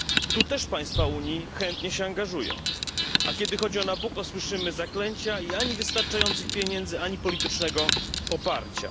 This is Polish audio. Tu też państwa Unii chętnie się angażują, a kiedy chodzi o Nabucco słyszmy zaklęcia i ani wystarczających pieniędzy, ani politycznego poparcia.